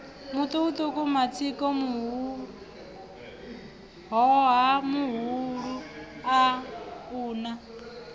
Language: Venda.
mutukutuku matsiko muhoha muhulua una